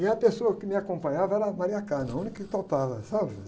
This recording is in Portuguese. E a pessoa que me acompanhava era a, a única que topava, sabe?